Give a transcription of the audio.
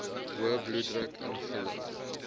hoë bloeddruk ingelig